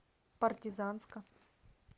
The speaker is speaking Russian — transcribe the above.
партизанска